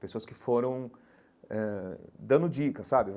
Pessoas que foram ãh dando dicas, sabe?